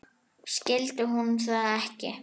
Skildi hún það ekki?